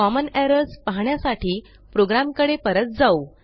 common errors पाहण्यासाठी प्रोग्रॅमकडे परत जाऊ